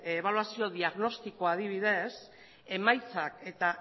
ebaluazio diagnostiko adibidez emaitzak eta